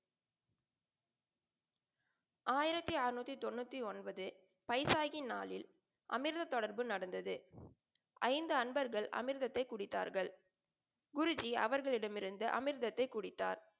ஆயிரத்தி அறநூத்தி தொண்ணூத்தி ஒன்பது வைசாகி நாளில் அமிர்த்தொடர்பு நடந்தது. ஐந்து அன்பர்கள் அமிர்த்தை குடித்தார்கள். குருஜி அவர்களிடமிருந்து அமிர்தத்தை குடித்தார்.